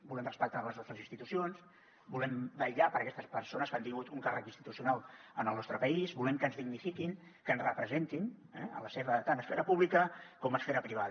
volem respectar les nostres institucions volem vetllar per aquestes persones que han tingut un càrrec institucional en el nostre país volem que ens dignifiquin que ens representin tant a esfera pública com a esfera privada